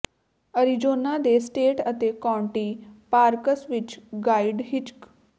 Arizona ਦੇ state ਅਤੇ county parks ਵਿਚ ਗਾਇਡ ਹਿਚਕ